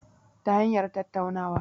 Ta hanyar tattaunawa